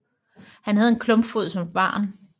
Han havde en klumpfod som barn